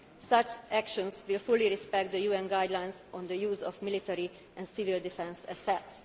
the UN. Such actions will fully respect the UN guidelines on the use of military and civil defence